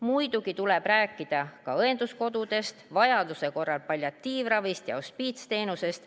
Muidugi tuleb rääkida ka õenduskodudest, vajaduse korral palliatiivravist ja hospiitsteenusest.